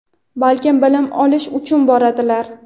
balkim bilim olish uchun boradilar.